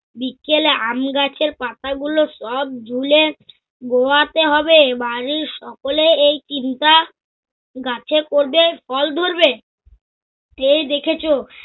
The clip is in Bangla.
বিকেলে আমগাছের পাতাগুলো সব ঝুলে গোয়াতে হবে, বাড়ীর সকলে এই চিন্তা গাছে করবে ফল ধরবে। এই দেখেছ